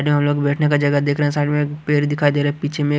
यहाँ हम लोग बैठने का जगह देख रहे हैं साइड मैं एक पेड़ दिखाई दे रहा है पिछे मैं--